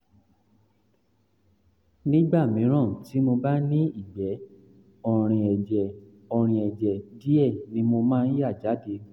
nígbà mìíràn tí mo bá ní ìgbẹ́ ọ̀rìn ẹ̀jẹ̀ ọ̀rìn ẹ̀jẹ̀ díẹ̀ ni mo máa ń yà jáde